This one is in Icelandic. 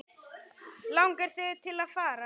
Langar þig til að fara?